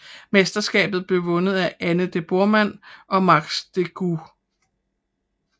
Mesterskabet blev vundet af Anne de Borman og Max Decugis